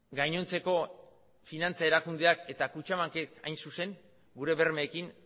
gainontzeko finantza erakundeak eta kutxabankek hain zuzen gure bermeekin